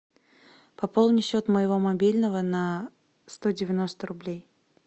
пополни счет моего мобильного на сто девяносто рублей